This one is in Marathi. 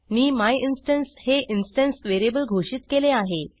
मी मायिन्स्टन्स हे इन्स्टन्स व्हेरिएबल घोषित केले आहे